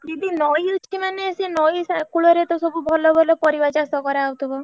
ଦିଦି ନଇ ଅଛି ମାନେ ସେ ନଇ କୂଳରେ ତ ସବୁ ଭଲ ଭଲ ପରିବା ଚାଷ କରାହଉଥିବ।